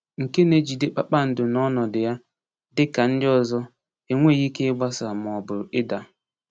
Nke na-ejide kpakpando n’ọnọdụ ya, dị ka ndị ọzọ, enweghị ike ịgbasa ma ọ bụ ịda.